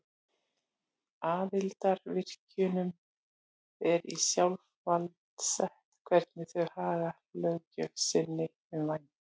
Aðildarríkjunum er í sjálfsvald sett hvernig þau haga löggjöf sinni um vændi.